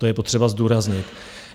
To je potřeba zdůraznit.